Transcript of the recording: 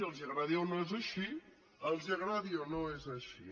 els agradi o no és així els agradi o no és així